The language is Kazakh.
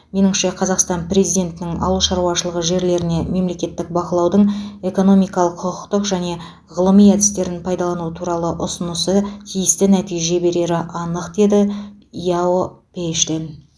меніңше қазақстан президентінің ауыл шаруашылығы жерлеріне мемлекеттік бақылаудың экономикалық құқықтық және ғылыми әдістерін пайдалану туралы ұсынысы тиісті нәтиже берері анық деді яо пэйшэн